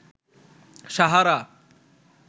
Sahara